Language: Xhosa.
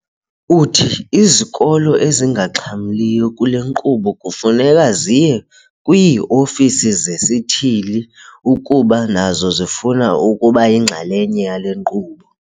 Uthi izikolo ezingaxhamliyo kule nkqubo kufuneka ziye kwii-ofisi zesithili ukuba nazo zifuna ukuba yinxalenye yale nkqubo.